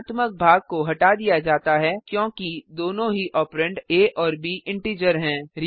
भिन्नात्मक भाग को हटा दिया जाता है क्योंकि दोनों ही ऑपरेंड आ और ब इंटीजर हैं